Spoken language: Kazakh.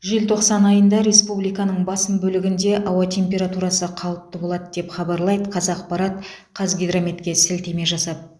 желтоқсан айында республиканың басым бөлігінде ауа температурасы қалыпты болады деп хабарлайды қазақпарат қазгидрометке сілтеме жасап